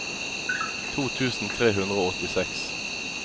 to tusen tre hundre og åttiseks